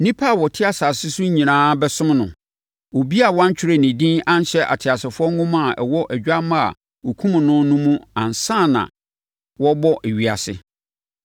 Nnipa a wɔte asase so nyinaa bɛsom no: obiara a wantwerɛ ne din anhyɛ ateasefoɔ nwoma a ɛwɔ Odwammaa a wɔkumm no no mu ansa na wɔrebɔ ewiase.